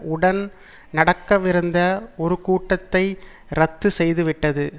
உடன் நடக்கவிருந்த ஒரு கூட்டத்தை இரத்து செய்து விட்டது